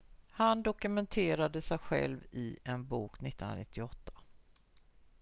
han dokumenterade sig själv i en bok 1998